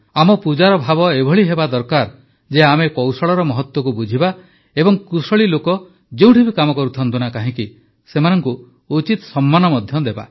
ଆମ ପୂଜାର ଭାବ ଏଭଳି ହେବା ଦରକାର ଯେ ଆମେ କୌଶଳର ମହତ୍ୱକୁ ବୁଝିବା ଏବଂ କୁଶଳୀ ଲୋକ ଯେଉଁଠି ବି କାମ କରୁଥାନ୍ତୁ ନା କାହିଁକି ସେମାନଙ୍କୁ ଉଚିତ ସମ୍ମାନ ମଧ୍ୟ ଦେବା